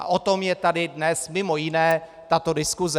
A o tom je tady dnes mimo jiné tato diskuse.